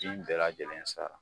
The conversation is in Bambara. Ji in bɛɛ lajɛlen sa